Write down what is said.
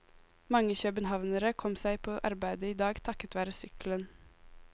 Mange københavnere kom seg på arbeidet i dag takket være sykkelen.